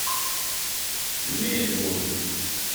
мельбурн